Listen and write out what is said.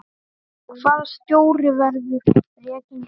Hvaða stjóri verður rekinn fyrstur?